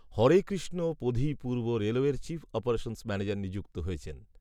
হরে কৃষ্ণ পধি পূর্ব রেলওয়ের chief operations manager নিযুক্ত হয়েছেন